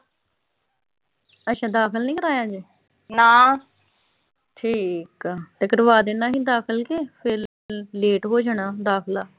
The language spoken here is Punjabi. ਅੱਛਾ ਦਾਖਲ ਨੀਂ ਕਰਾਇਆ ਹਜੇ। ਠੀਕ ਆ ਤੇ ਕਰਵਾ ਦੇਣਾ ਸੀ ਦਾਖਲ ਤੇ ਫਿਰ ਲੇਟ ਹੋ ਜਾਣਾ ਦਾਖਲਾ।